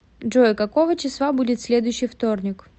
джой какого числа будет следующий вторник